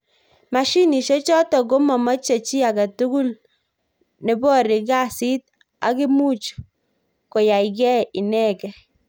Mashinishek chotok komomeche chi agetugul nebory kesit ak imuch koyaikei inekei.